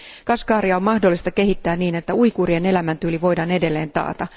Kashgaria on mahdollista kehittää niin, että uiguurien elämäntyyli voidaan edelleen taata.